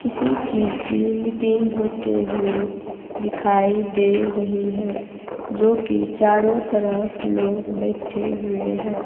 किसी चीज की मीटिंग होते हुए दिखाई दे रही है जो कि चारों तरफ लोग बैठे हुए है।